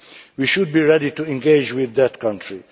We should be ready to engage with that country.